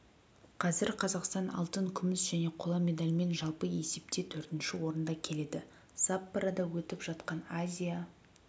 қазір қазақстан алтын күміс және қола медальмен жалпы есепте төртінші орында келеді саппорода өтіп жатқан азия